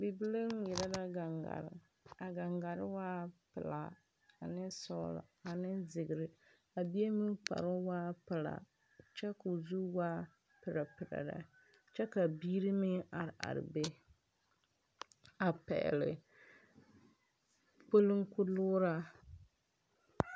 Bibile ŋmɛrɛ la gaŋare. A gaŋare waa pulaa ane sɔglɔ ane ziire. A bie meŋ kparo waa pulaa kyɛ k'o zu waa prɛprɛ lɛ. Kyɛ ka biire meŋ are are be a pɛgle kpuliŋkpulugra